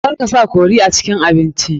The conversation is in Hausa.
Kar ka sa curry a cikin abinci.